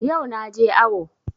Yau na je awo